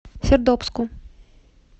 сердобску